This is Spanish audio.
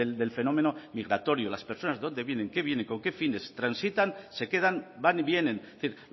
del fenómeno migratorio las personas de dónde vienen qué vienen con qué fines transitan se quedan van y vienen es decir